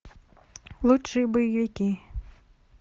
лучшие боевики